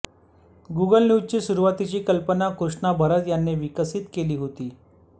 Google न्यूजची सुरुवातीची कल्पना कृष्णा भरत यांनी विकसित केली होती